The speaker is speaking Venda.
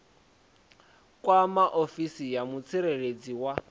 kwama ofisi ya mutsireledzi wa